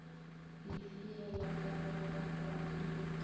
lefeela ba ba rakwang dileteng